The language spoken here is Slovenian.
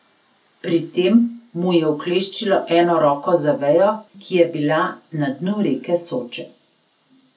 Pri tem mu je ukleščilo eno roko za vejo, ki je bila na dnu reke Soče.